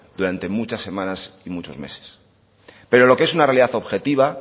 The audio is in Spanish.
durante muchas semanas y muchos meses pero lo que es una realidad objetiva